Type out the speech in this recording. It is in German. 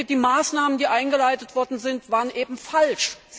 Die Maßnahmen, die eingeleitet worden sind, waren eben falsch.